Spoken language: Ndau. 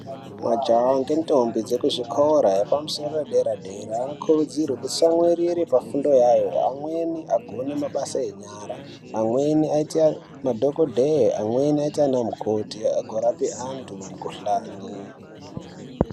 Majaha nendombi dzekuzvikora zvepamusoro zvedera dera vanokurudzirwa kutsamwirira pafundo yawo amweni agone mabasa enyara amweni aite madhokodheya amweni agoite ana mukoti agorape antu mikuhlani.